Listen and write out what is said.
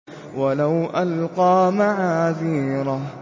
وَلَوْ أَلْقَىٰ مَعَاذِيرَهُ